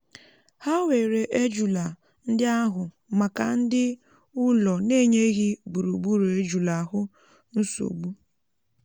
há wèrè ejula ndị áhù màkà ndi ụlọ n'enyeghị gburugburu ejulà áhù nsogbụ